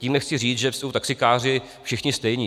Tím nechci říct, že jsou taxikáři všichni stejní.